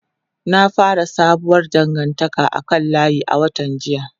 Na fara sabuwar dangantaka a kan layi a watan jiya.